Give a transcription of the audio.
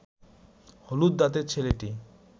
হলুদ দাঁতের ছেলেটি